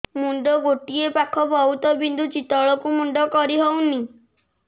ମୁଣ୍ଡ ଗୋଟିଏ ପାଖ ବହୁତୁ ବିନ୍ଧୁଛି ତଳକୁ ମୁଣ୍ଡ କରି ହଉନି